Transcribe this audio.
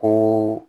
Ko